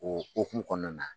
O o huhumu kɔnɔna na